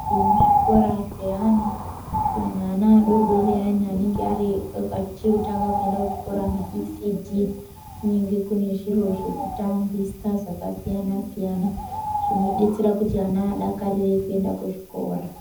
Muzvikora zveana kunyanya ana adoodori ayani anenge achiri kutanga kuenda kuchikora maisiidhii. Kunenge kuine zviro zvekutambisa zvakasiyana-siyana zvinoita kuti ana adakarire kuenda kuzvikora.